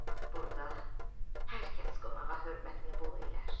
Burda hər kəs qonağa hörmətini bol elər.